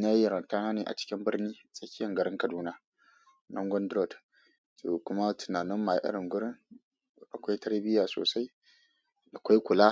nayi yaranta na ne a cikin birni tsakiyan garin Kaduna, Nangon Road kuma tunanin mu a irin wurin akwai tarbiyya sosai, akwai kula.